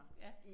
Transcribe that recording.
Ja